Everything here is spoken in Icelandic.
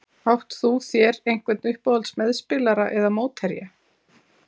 Átt þú þér einhvern uppáhalds meðspilara eða mótherja?